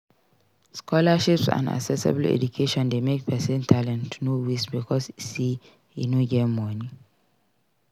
Scholarships and accessible education de make persin talent no waste because say e no get moni